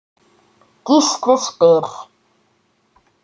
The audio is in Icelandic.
Gísli spyr